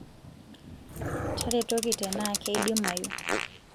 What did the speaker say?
taretoki tenaa keidimayu